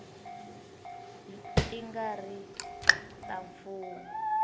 ti nga ri ta mfumo